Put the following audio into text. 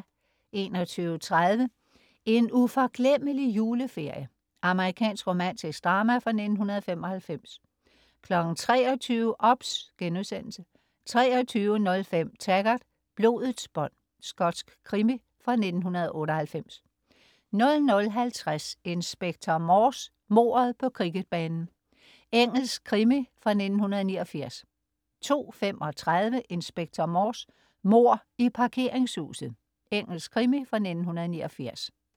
21.30 En uforglemmelig juleferie. Amerikansk romantisk drama fra 1995 23.00 OBS* 23.05 Taggart: Blodets bånd. Skotsk krimi fra 1998 00.50 Inspector Morse: Mordet på cricketbanen. Engelsk krimi fra 1989 02.35 Inspector Morse: Mord i parkeringshuset. Engelsk krimi fra 1989